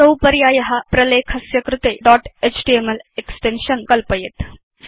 असौ पर्याय प्रलेखस्य कृते दोत् एचटीएमएल एक्सटेन्शन् कल्पयेत्